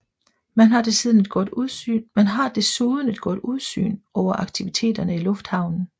Man har desuden et godt udsyn over aktiviteterne i lufthavnen